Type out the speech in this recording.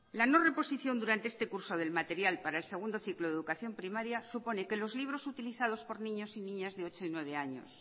la no reposición durante este curso del material para el segundo ciclo de educación primaria supone que los libros utilizados por niños y niñas de ocho y nueve años